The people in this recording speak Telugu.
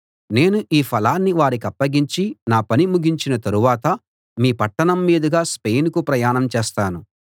నేను ఈ ఫలాన్ని వారికప్పగించి నా పని ముగించిన తరువాత మీ పట్టణం మీదుగా స్పెయినుకు ప్రయాణం చేస్తాను